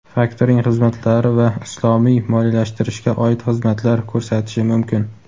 faktoring xizmatlari va islomiy moliyalashtirishga oid xizmatlar ko‘rsatishi mumkin.